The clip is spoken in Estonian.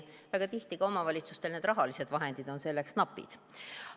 Väga tihti on ka omavalitsuste rahalised vahendid selleks napid.